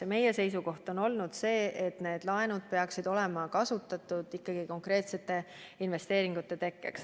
Ja meie seisukoht on olnud see, et need laenud peaksid olema kasutatud konkreetsete investeeringute tegemiseks.